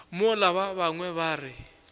mola ba bangwe ba re